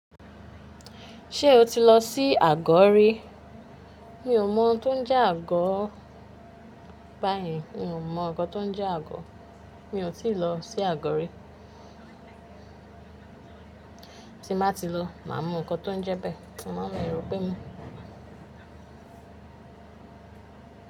Ṣé o ti lọ sí àgó rí? Mi ò mọ ohun tó ń jẹ́ àgó báyen. Mi ò mọ nǹkan tó ń jẹ́ àgó. Mi ò tí ì lọ sí àgó rí. Tí bá ti lọ, màá mọ nǹkan tó ń jẹ́ bẹ́ẹ̀, kí màá lè rọ pé mi.